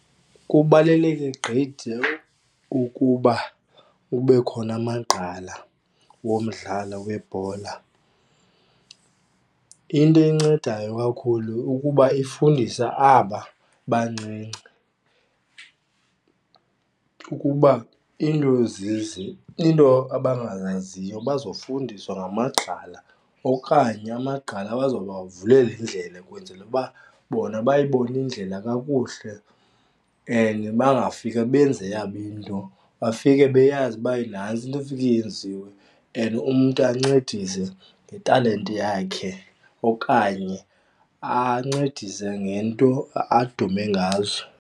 Kubaluleke gqithi ukuba kube khona amagqala womdlalo webhola. Into eyincedayo kakhulu ukuba ifundisa aba bancinci ukuba iinto abangazaziyo bazofundiswa ngamagqala okanye amagqala azoba vulela indlela ukwenzela uba bona bayibone indlela kakuhle and bangafike benze eyabo into. Bafike beyazi uba nantsi into efike yenziwe and umntu ancedise ngetalente yakhe okanye ancedise ngento adume ngazo.